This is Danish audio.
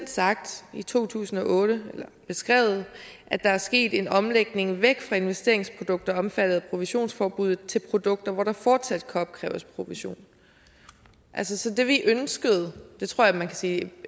i to tusind og otte beskrevet at der er sket en omlægning væk fra investeringsprodukter omfattet af provisionsforbuddet til produkter hvor der fortsat kan opkræves provision altså det vi ønskede jeg tror man kan sige